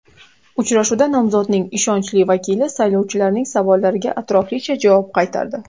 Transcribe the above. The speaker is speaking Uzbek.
Uchrashuvda nomzodning ishonchli vakili saylovchilarning savollariga atroflicha javob qaytardi.